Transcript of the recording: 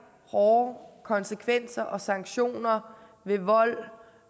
hårde konsekvenser og sanktioner ved vold